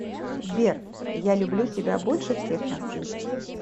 сбер я люблю тебя больше всех на свете